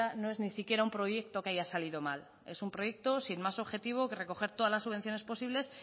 no es ni siquiera un proyecto que haya salido mal es un proyecto sin más objetivo que recoger todas las subvenciones posibles